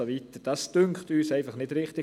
Das dünkt uns einfach nicht richtig.